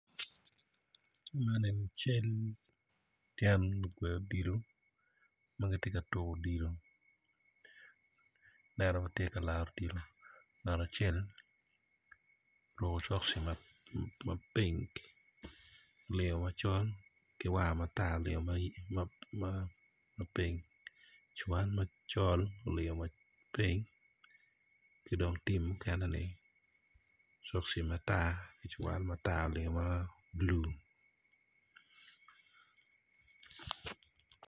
Ma eni cal tye lugwe odilo ma gitye ka tuko odilo aneno gitye ka laro odilo oruko cokci ma pink olingo macol ki war matar olingo ma pink cuwal macol olingo ma pink ci dong tim mukeneni cokci matr cuwal matar olingo ma blu.